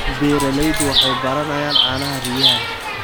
Beeraleydu waxay baranayaan caanaha riyaha.